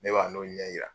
Ne b'a n'o ɲɛ yira